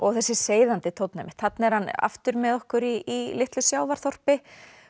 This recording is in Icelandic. þessi seiðandi tónn einmitt þarna er hann aftur með okkur í litlu sjávarþorpi